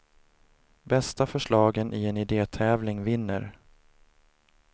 Bästa förslagen i en idétävling vinner.